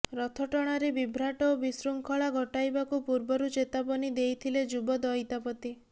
ରଥ ଟଣାରେ ବିଭ୍ରାଟ ଓ ବିଶୃଙ୍ଖଳା ଘଟାଇବାକୁ ପୂର୍ବରୁ ଚେତାବନୀ ଦେଇଥିଲେ ଯୁବ ଦଇତାପତି